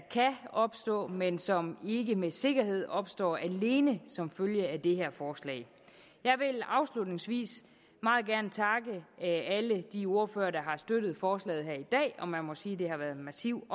opstå men som ikke med sikkerhed vil opstå alene som følge af det her forslag jeg vil afslutningsvis meget gerne takke alle de ordførere der har støttet forslaget her i dag og man må sige at der har været en massiv